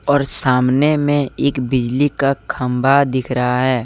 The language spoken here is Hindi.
और सामने में एक बिजली का खंबा दिख रहा है।